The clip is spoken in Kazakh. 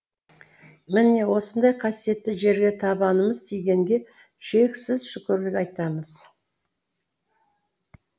міне осындай қасиетті жерге табанымыз тигенге шексіз шүкірлік айтамыз